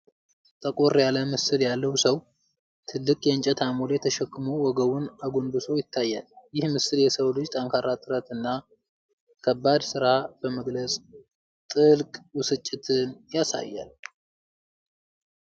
ጠቆር ያለ ምስል ያለው ሰው፣ ትልቅ የእንጨት አሞሌ ተሸክሞ ወገቡን አጎንብሶ ይታያል። ይህ ምስል የሰውን ልጅ ጠንካራ ጥረት እና ከባድ ስራ በመግለጽ ጥልቅ ብስጭትን ያሳያል።